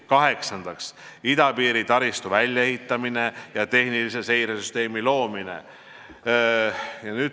Kaheksandaks, idapiiri taristu väljaehitamine ja tehnilise seire süsteemi loomine.